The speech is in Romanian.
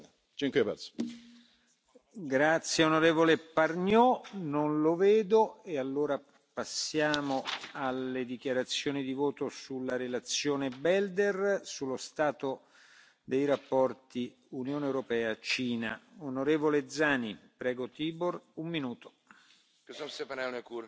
ce? Pentru că acolo există politicieni și oligarhi corupți. Șaisprezece țări, între care unsprezece state membre ale Uniunii, sunt calul troian prin care China încearcă